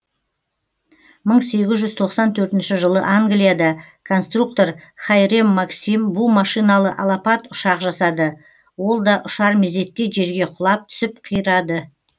мың сегіз жүз тоқсан төртінші жылы англияда конструктор хайрем максим бу машиналы алапат ұшақ жасады ол да ұшар мезетте жерге құлап түсіп қирады